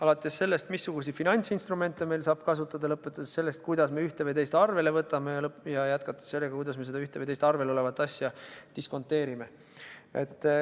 Alates sellest, missuguseid finantsinstrumente meil saab kasutada, ja lõpetades sellega, kuidas me ühte või teist arvele võtame, ning jätkates sellega, kuidas me seda ühte või teist arvel olevat asja diskonteerime.